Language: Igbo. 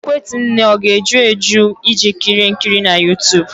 Ekwentị nne ga-eju eju iji kirie nkiri na YouTube?